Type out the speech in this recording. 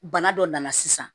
Bana dɔ nana sisan